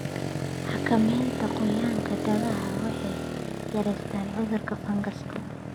Xakamaynta qoyaanka daaqa waxay yaraysaa cudurada fangas.